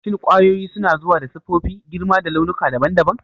Shin kwayoyin suna zuwa da siffofi, girma da launuka daban-daban?